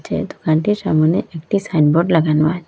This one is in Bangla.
যে দোকানটির সামোনে একটি সাইন বোর্ড লাগানো আছে।